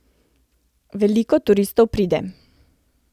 Veliko turistov pride.